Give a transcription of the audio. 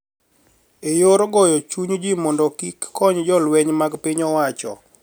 E yor goyo chuny ji mondo kik kony jolweny mag piny owacho